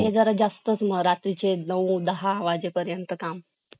काय हे जरा जास्त म रात्री चे नऊ दहा वाजेपर्यंत काम